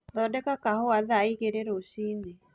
thondeka kahũa thaaĩgĩrĩ rũcĩĩnĩ